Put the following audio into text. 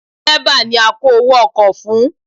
Dẹ̀rẹ́bà ni a kó owó ọkọ̀ fún.